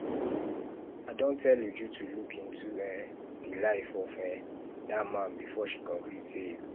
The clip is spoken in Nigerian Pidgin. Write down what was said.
i don tell uju to look into um the life of um dat man before she conclude say he good